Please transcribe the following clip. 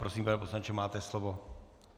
Prosím, pane poslanče, máte slovo.